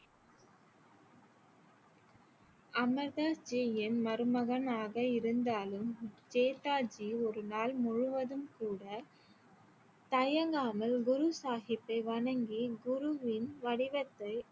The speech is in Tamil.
அமர்தாஸ் ஜியின் மருமகனாக இருந்தாலும் ஜேத்தாஜி ஒரு நாள் முழுவதும் கூட தயங்காமல் குரு சாஹிப்பை வணங்கி குருவின் வடிவத்தை